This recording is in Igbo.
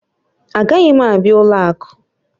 Agaghị m abịa ụlọ akụ